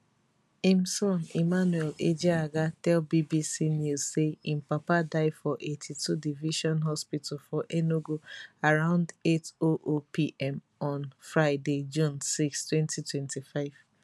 im son emmanuel ejeagha tell bbc news say im papa die for 82 division hospital for enugu around 800 pm on friday june 6 2025